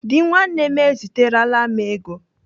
Dị nwanne m eziterela m ego.